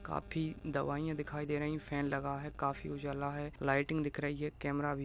काफी दवाइयां दिखाई दे रही हैं फैन लगा है काफी उजाला है लाइटिंग दिख रही है कैमरा भी --